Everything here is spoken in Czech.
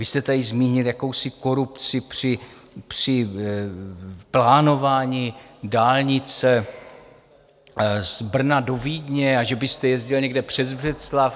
Vy jste tady zmínil jakousi korupci při plánování dálnice z Brna do Vídně, a že byste jezdil někde přes Břeclav.